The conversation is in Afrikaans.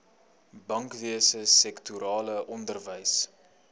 bankwese sektorale onderwys